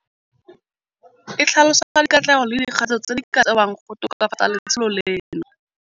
E tlhalosa dikatlego le dikgato tse di ka tsewang go tokafatsa letsholo leno.